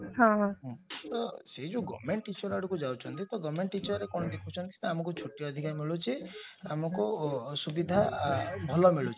ହଁ ହଁ ତ ସେ ଯଉ government teacher ଆଡକୁ ଯାଉଛନ୍ତି ତ government teacherରେ କଣ ଦେଖୁଛନ୍ତି ଆମକୁ ଛୁଟି ଅଧିକା ମିଳୁଛି ଆମକୁ ସୁବିଧା ଭଲ ମିଳୁଛି